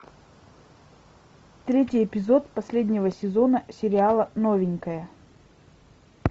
третий эпизод последнего сезона сериала новенькая